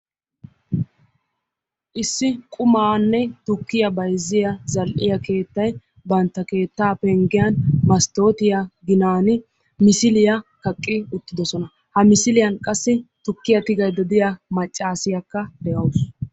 issi qumaanne tukkiya bayzziya zal'iyaa keettay bantta keetaa pengiyan mastootiya ginaani misiliya kaqqi wotidossona. ha missiliyan qassi tukkiya tigaydda de'iya macaasiya de'awusu.